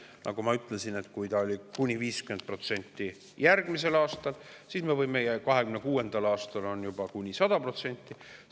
Nagu ma ütlesin, see on kuni 50% järgmisel aastal ja 2026. aastal kuni 100%.